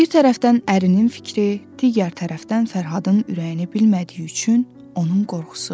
Bir tərəfdən ərinin fikri, digər tərəfdən Fərhadın ürəyini bilmədiyi üçün onun qorxusu.